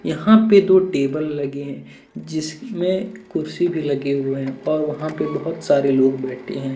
यहाँ पे दो टेबल लगे है जिसमे कुर्सी भी लगे हुए है और वहां पे बहुत सारे लोग बैठे है।